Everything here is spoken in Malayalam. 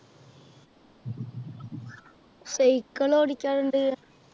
Cycle ഓടിക്കാറുണ്ട്